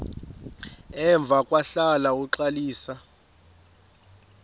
emva kwahlala uxalisa